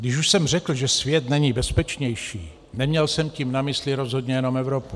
Když už jsem řekl, že svět není bezpečnější, neměl jsem tím na mysli rozhodně jenom Evropu.